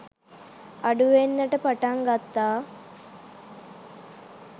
අඩුවෙන්නට පටන් ගත්තා